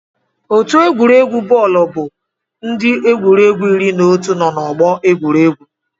Otu egwuregwu bọọlụ bụ ndị egwuregwu iri na otu nọ n'ọgbọ egwuregwu.